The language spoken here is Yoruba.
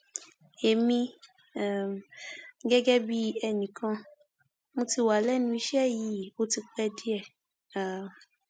èmi um gẹgẹ bíi ẹnì kan mo ti wà wà lẹnu iṣẹ yìí ó ti pẹ díẹ um